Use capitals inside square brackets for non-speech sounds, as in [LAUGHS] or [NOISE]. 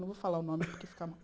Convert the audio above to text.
Não vou falar o nome, porque fica [LAUGHS]